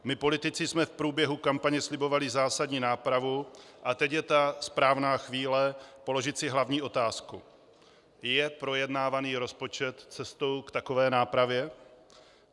My politici jsme v průběhu kampaně slibovali zásadní nápravu a teď je ta správná chvíle položit si hlavní otázku: Je projednávaný rozpočet cestou k takové nápravě?